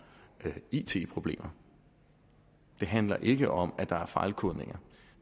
it problemer det handler ikke om at der er fejlkodninger